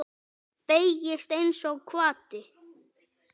Beygist einsog hvati.